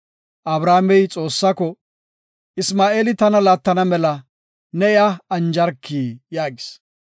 Abrahaamey Xoossako, “Isma7eeli tana laattana mela ne iya anjarki” yaagis.